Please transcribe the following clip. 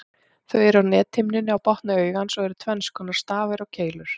Þeir eru á nethimnunni á botni augans og eru tvenns konar, stafir og keilur.